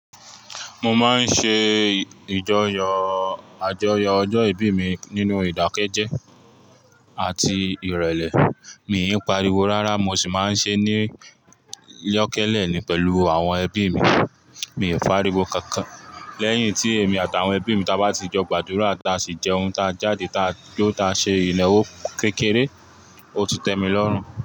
Mo máa ń ṣe ìjọ́yọ̀ àjọyọ̀ ọjọ́ ìbí mi nínú ìdákẹ́jẹ́ àti ìrẹ̀lẹ̀. Mi ò pariwo rárá, mo sì máa ń ṣe é ní yókélé ni pẹ̀lú àwọn ẹbí mi. Mi ò fẹ́'ariwo kankan. Lẹ́yìn tí èmi àtàwọn ẹbí mi ta bá ti jọ gbàdúrà, ta sì jẹun ta jáde ta ló ta ṣe ìnáwó kékeré, ó ti tẹmi lọ́rùn.